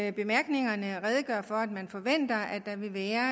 i bemærkningerne redegør for at man forventer at der vil være